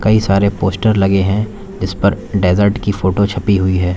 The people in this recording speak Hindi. सारे पोस्टर लगे हैं जिसपर डेजर्ट की फोटो छपी हुई है।